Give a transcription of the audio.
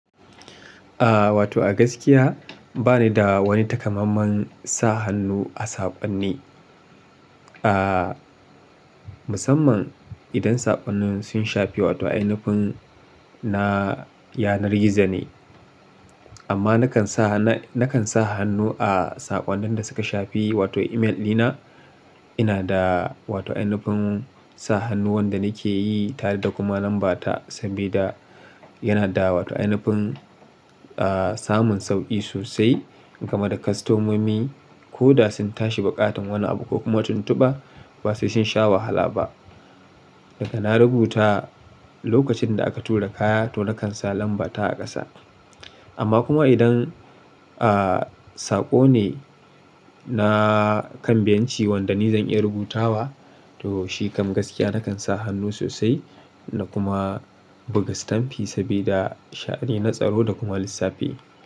Aaa, wato a gaskiya bani da wani takamamman sa hannu a sakonni. Aaa, musamman idan sakonnin sun shafi wato ainifin na yanar gizo ne. Amma nakan sa, nakan sa hannu a saƙonnin da suka shafi wato email dina. Ina da wato ainifin sa hannu wanda nake yi tare da kuma lambata saboda yana da wato ainifin, aa, samun sauƙi sosai. Game da kwastomomi ko da sun tashi buƙatar wani abu ko kuma tuntuba ba sai sun sha wahala ba. Daga na rubuta lokacin da aka tura kaya to nakan sa lambata a ƙasa. Amma kuma idan, aa, saƙo ne na kan benci wanda ni zan iya rubutawa to shi kam gaskiya nakan sa hannu sosai na kuma buga stamfi saboda sha'ani na tsaro da kuma lissafi.